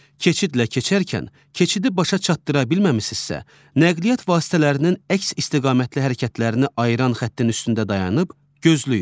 Keçidlə keçərkən keçidi başa çatdıra bilməməmisinizsə, nəqliyyat vasitələrinin əks istiqamətli hərəkətlərini ayıran xəttin üstündə dayanıb gözləyin.